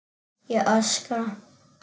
Ég öskra.